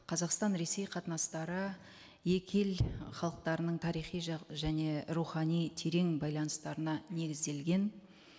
қазақстан ресей қатынастары екі ел халықтарының тарихи және рухани терең байланыстарына негізделген